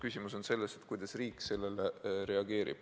Küsimus on selles, kuidas riik sellele reageerib.